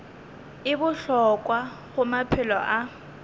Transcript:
e bohlokwa go maphelo a